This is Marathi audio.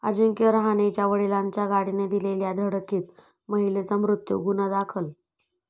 अजिंक्य रहाणेच्या वडिलांच्या गाडीने दिलेल्या धडकेत महिलेचा मृत्यू, गुन्हा दाखल